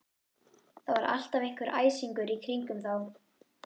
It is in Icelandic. Það var alltaf einhver æsingur í kringum þá.